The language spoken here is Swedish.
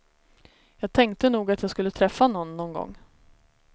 Jag tänkte nog att jag skulle träffa någon, nån gång.